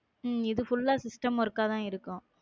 உம் இது full ஆ system work ஆ தான் இருக்கும்